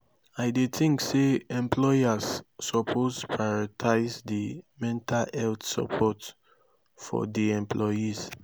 i dey think say employers suppose prioritize di mental health supoort for di employees.